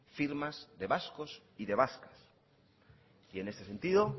firmas de vascos y de vascas y en este sentido